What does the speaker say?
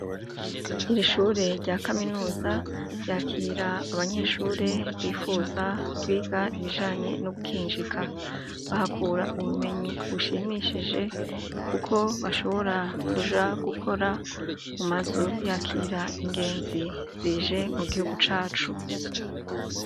Ishure rya kaminuza ryakira abanyeshure bifuza kwiga ibijanye no gukinjika. Bahakura ubumenyi bushimishije, kuko bashobora kuja gukora mu mazu yakira ingenzi zije mu gihugu cacu.